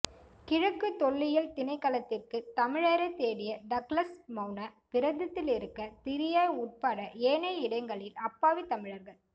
கிழக்கு தொல்லியல் திணைக்களத்திற்கு தமிழரை தேடிய டக்ளஸ் மௌன விரதத்திலிருக்க திரியாய் உட்பட ஏனைய இடங்களில் அப்பாவித் தமிழர்கள்